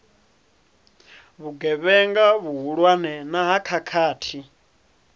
vhugevhenga vhuhulwane na ha khakhathi